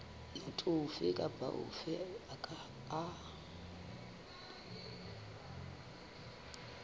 motho ofe kapa ofe a